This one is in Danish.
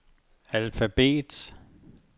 alfabet